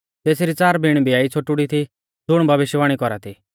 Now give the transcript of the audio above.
तेसरी च़ार बिण ब्याई छ़ोटुड़ी थी ज़ुण भविष्यवाणी कौरा थी